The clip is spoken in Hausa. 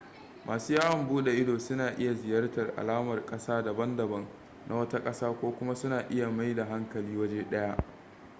masu yawon bude ido na iya ziyartan alamar kasa dabam-dabam na wata kasa ko kuma suna iya mai da hankali waje daya